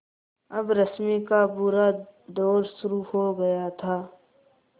अब रश्मि का बुरा दौर शुरू हो गया था